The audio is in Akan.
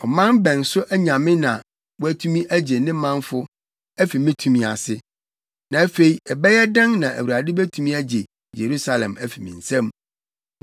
Ɔman bɛn so nyame na watumi agye ne manfo afi me tumi ase? Na afei ɛbɛyɛ dɛn na Awurade betumi agye Yerusalem afi me nsam.”